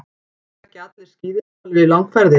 Ekki leggja allir skíðishvalir í langferðir.